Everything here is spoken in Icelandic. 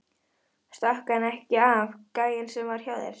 Stakk hann ekki af, gæinn sem var hjá þér?